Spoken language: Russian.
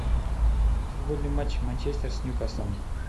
футбольный матч манчестер с ньюкаслом